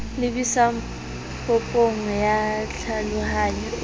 lebisang popong ya tlhalohanyo e